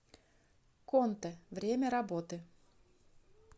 контэ время работы